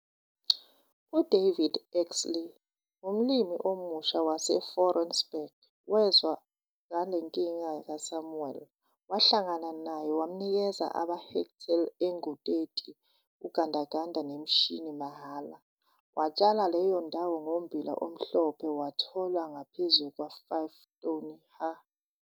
UDavid Exley, umlimi omusha waseFouriesburg wezwa ngale nkinga kaSamuel. Wahlangana naye wamnikeza amahektheli angu-30, ugandaganda nemeshini - mahala. Watshala leyo ndawo ngommbila omhlophe wathola ngaphezu kwa5 ton ha.